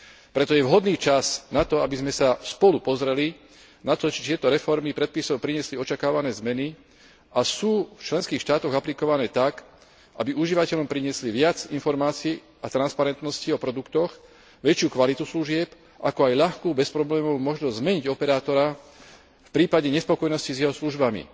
Preto je vhodný čas na to, aby sme sa spolu pozreli na to, či tieto reformy predpisov priniesli očakávané zmeny a sú v členských štátoch aplikované tak, aby užívateľom priniesli viac informácií a transparentnosti o produktoch, väčšiu kvalitu služieb, ako aj ľahkú bezproblémovú možnosť zmeniť operátora v prípade nespokojnosti s jeho službami.